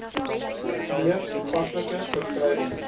mees toepaslike beskrywing